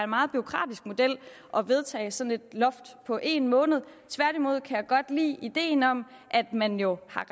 meget bureaukratisk model at vedtage sådan et loft på en måned tværtimod kan jeg godt lide ideen om at man jo har